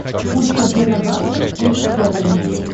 курс обмена бакса к фунту стерлингу